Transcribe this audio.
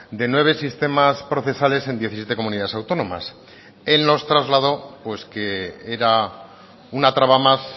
de nueve sistemas procesales en diecisiete comunidades autónomas él nos trasladó pues que era una traba más